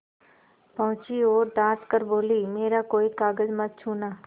पहुँची और डॉँट कर बोलीमेरा कोई कागज मत छूना